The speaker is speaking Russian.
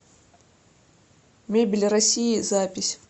мебель россии запись